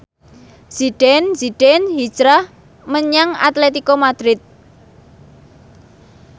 Zidane Zidane hijrah menyang Atletico Madrid